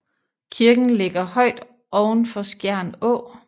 Kirken ligger højt oven for Skjern Å